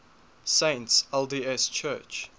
saints lds church